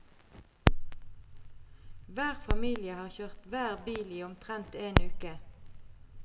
Hver familie har kjørt hver bil i omtrent én uke.